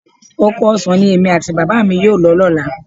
Oko ọsàn ni èmi àti Bàbá mi yóò lọ lọ́la